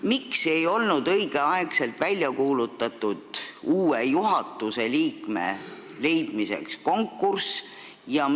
Miks ei kuulutatud õigeaegselt välja konkurssi uue juhatuse liikme leidmiseks?